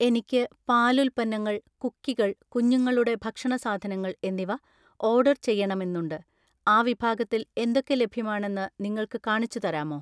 എനിക്ക് പാലുൽപ്പന്നങ്ങൾ, കുക്കികൾ, കുഞ്ഞുങ്ങളുടെ ഭക്ഷണ സാധനങ്ങൾ എന്നിവ ഓർഡർ ചെയ്യണമെന്നുണ്ട്, ആ വിഭാഗത്തിൽ എന്തൊക്കെ ലഭ്യമാണെന്ന് നിങ്ങൾക്ക് കാണിച്ചു തരാമോ?